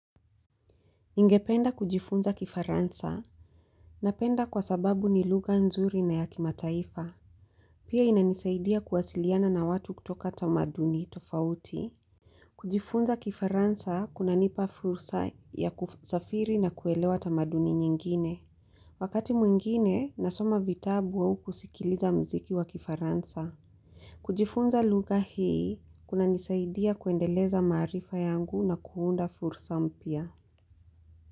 Ingependa kujifunza kifaransa napenda kwa sababu ni lugha nzuri na ya kimataifa. Pia inanisaidia kuwasiliana na watu kutoka tamaduni tofauti. Kujifunza kifaransa kunanipa fursa ya kusafiri na kuelewa tamaduni nyingine. Wakati mwingine, nasoma vitabu au kusikiliza mziki wa kifaransa. Kujifunza lugha hii kunanisaidia kuendeleza maarifa yangu na kuunda fursa mpia.